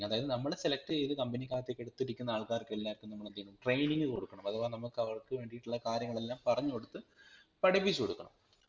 അതായത് നമ്മൾ select ചെയ്ത് company ക്കകത്തേക് എടുത്തിരിക്കുന്ന ആൾകാർക് എല്ലാവർക്കും നമ്മൾ എന്തയ്യണ്ണം training കൊടുക്കണം അഥവാ നമ്മക്ക് അവർക് വേണ്ടിട്ടുള്ള കാര്യങ്ങളെല്ലാം പറഞ്ഞു കൊടുത്ത് പഠിപ്പിച്ചു കൊടുക്കണം